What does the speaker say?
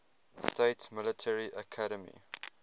states military academy